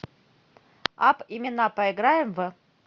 апп имена поиграем в